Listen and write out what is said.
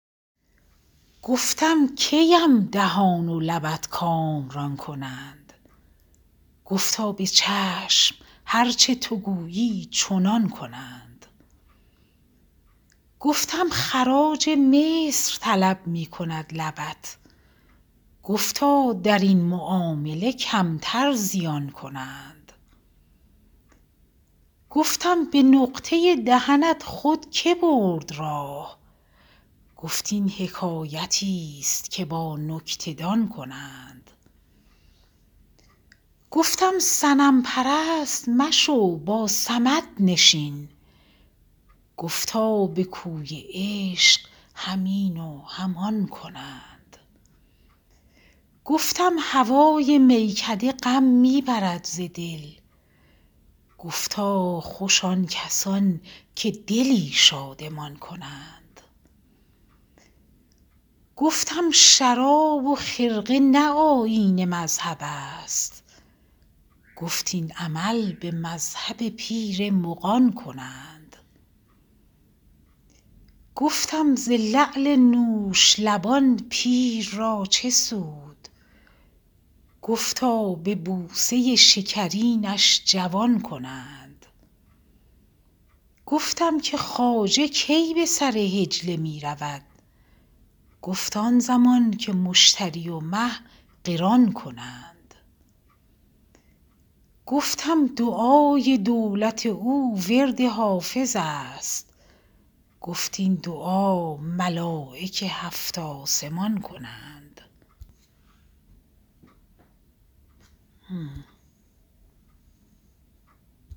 گفتم کی ام دهان و لبت کامران کنند گفتا به چشم هر چه تو گویی چنان کنند گفتم خراج مصر طلب می کند لبت گفتا در این معامله کمتر زیان کنند گفتم به نقطه دهنت خود که برد راه گفت این حکایتیست که با نکته دان کنند گفتم صنم پرست مشو با صمد نشین گفتا به کوی عشق هم این و هم آن کنند گفتم هوای میکده غم می برد ز دل گفتا خوش آن کسان که دلی شادمان کنند گفتم شراب و خرقه نه آیین مذهب است گفت این عمل به مذهب پیر مغان کنند گفتم ز لعل نوش لبان پیر را چه سود گفتا به بوسه شکرینش جوان کنند گفتم که خواجه کی به سر حجله می رود گفت آن زمان که مشتری و مه قران کنند گفتم دعای دولت او ورد حافظ است گفت این دعا ملایک هفت آسمان کنند